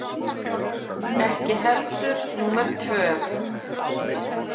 Ekki heldur númer tvö